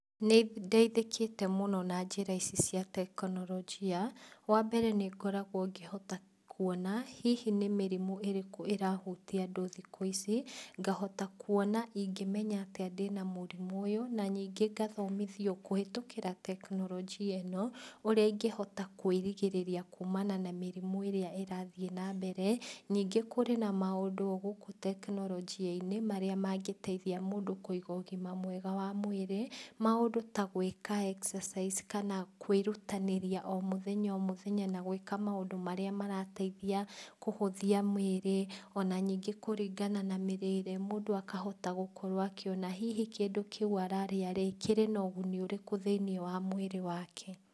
Nĩndeithikĩte mũno na njĩra ici cia tekinorojia, wambere nĩngoragwo ngĩhota kuona, hihi nĩmĩrimũ ĩrĩkũ ĩrahutia andũ thikũ ici, ngahota kuona ingĩ menya atĩa ndĩna mũrimũ ũyũ, na ningĩ ngathomithio kũhĩtũkĩra tekinorojia ĩno, ũrĩa ingĩhota kwĩrigĩrĩria kumana na mĩrimũ ĩria ĩrathiĩ nambere, ningĩ kũrĩ na maũndũ o gũkũ tekinorojiainĩ, marĩa mangĩteithia mũndũ kũiga ũgima mwega wa mwĩrĩ, maũndũ ta gwĩka exercise kana kwĩrutanĩria o mũthenya o mũthenya na gwĩka maũndũ marĩa marateithia kũhũthia mĩrĩ, ona ningĩ kũringana na mĩrĩre mũndũ akahota gũkorwo akĩona hihi kĩndũ kĩũ ararĩa rĩ, kĩrĩ na ũguni ũrĩkũ thiinĩ wa mwĩrĩ wake.